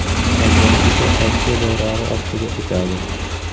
Qolgani esa Rossiya bayrog‘i ostiga o‘tadi.